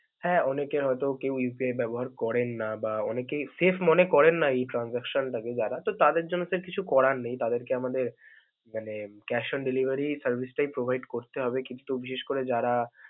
হ্যা অনেকের হয়তো কেউ Upay ব্যবহার করেন না. বা অনেকেই safe মনে করেন না এই transaction টাকে যারা তো তাদের জন্য sir কিছু করার নেই, তাদেরকে আমাদের মানে cash on delivery service টাই provide করতে হবে. ক্ষেত্র বিশেষ করে যারা.